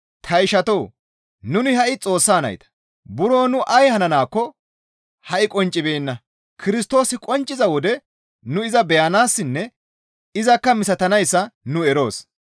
Ta ishatoo! Nuni ha7i Xoossa nayta; buro nu ay hananaakko ha7i qonccibeenna; Kirstoosi qoncciza wode nu iza beyanayssanne izakka misatanayssa nu eroos.